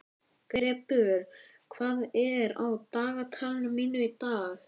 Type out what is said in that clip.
Greppur, hvað er á dagatalinu mínu í dag?